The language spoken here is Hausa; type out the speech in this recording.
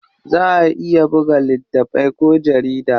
Za a iya buga littatafai ko jarida.